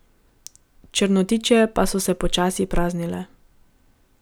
Črnotiče pa so se počasi praznile.